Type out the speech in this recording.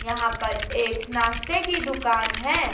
यहां पर एक नाश्ते की दुकान है।